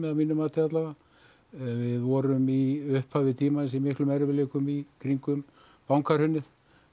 að mínu mati við vorum í upphafi tímans í miklum erfiðleikum í kringum bankahrunið